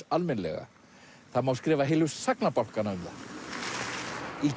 almennilega það má skrifa heilu sagnabálkana um það í